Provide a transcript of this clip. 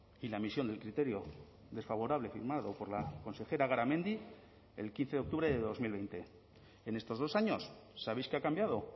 y la emisión del criterio desfavorable firmado por la consejera garamendi el quince de octubre de dos mil veinte en estos dos años sabéis qué ha cambiado